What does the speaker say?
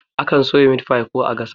Akan soya mitfai ko a gasa shi